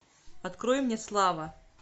открой мне слава